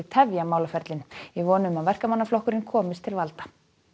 tefja málaferlin í von um að Verkamannaflokkurinn komist til valda julian